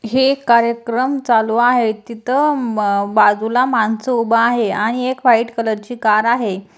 हे कार्यक्रम चालू आहे. तिथ म बाजूला माणस उभा आहे आणि एक व्हाइट कलर ची कार आहे.